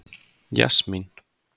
Jasmín